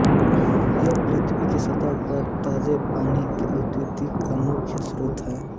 यह पृथ्वी की सतह पर ताजे पानी की आपूर्ति का मुख्य स्रोत है